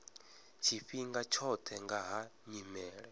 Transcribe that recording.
tshifhinga tshoṱhe nga ha nyimele